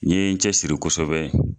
N ye n cɛ siri kosɛbɛ.